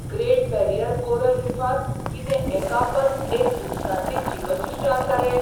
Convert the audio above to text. Great Barrier coral रिफांत कितें एकापस एक उदकांतली जीवसृश्ट आसा रे!